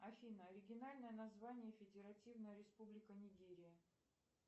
афина оригинальное название федеративная республика нигерия